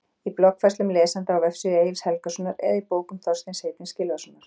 Í bloggfærslum lesenda á vefsíðu Egils Helgasonar eða í bókum Þorsteins heitins Gylfasonar?